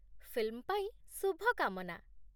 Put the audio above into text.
Film ପାଇଁ ଶୁଭକାମନା!